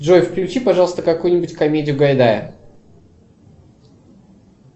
джой включи пожалуйста какую нибудь комедию гайдая